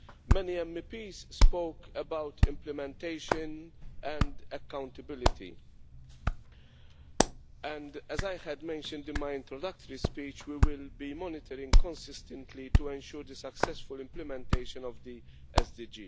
Many MEPs spoke about implementation and accountability and, as I mentioned in my introductory speech, we will be monitoring consistently to ensure the successful implementation of the SDGs.